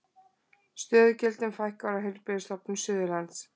Stöðugildum fækkar á Heilbrigðisstofnun Suðurlands